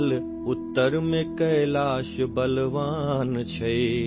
شمال میں کیلاش طاقتور ہے،